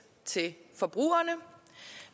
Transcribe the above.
til forbrugerne og